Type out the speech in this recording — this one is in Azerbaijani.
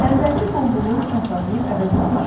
Əvvəlki bolluğu kasadlıq əvəz etmişdi.